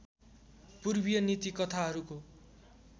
पूर्वीय नीति कथाहरूको